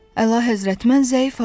Əlahəzrət, mən zəif adamam.